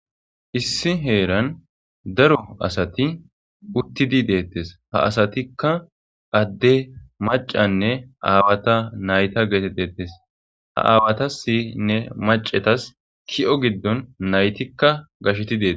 issi heeran daro asati uttidi deettes ha asatikka adde macanne aawata nayta geeteteettes ha aawata sinne macetas ki7o giddon naytikka gasheti deete